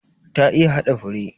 Ta iya hada fure.